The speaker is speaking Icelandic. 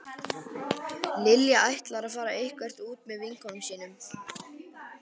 Lilja ætlar að fara eitthvert út með vinkonum sínum